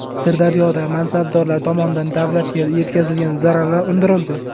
Sirdaryoda mansabdorlar tomonidan davlatga yetkazilgan zararlar undirildi.